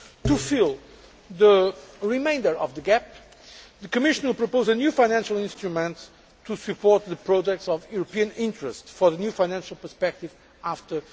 To fill the remainder of the gap, the Commission proposes a new financial instrument to support projects of European interest for the new financial perspective after